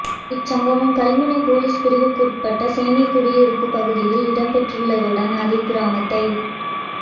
இச்சம்பவம் கல்முனை பொலிஸ் பிரிவுக்குட்பட்ட சேனைக்குடியிருப்பு பகுதியில் இடம்பெற்றுள்ளதுடன் அதே கிராமத்தைச்